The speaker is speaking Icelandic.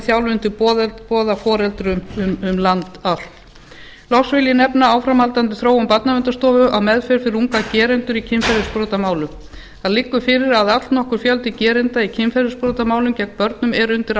foreldrafærniþjálfun til boða foreldrum um all land loks vil ég nefna áframhaldandi þróun barnaverndarstofu á meðferð fyrir unga gerendur í kynferðisbrotamálum það liggur fyrir að allnokkur fjöldi gerenda í kynferðisbrotamálum gegn börnum er undir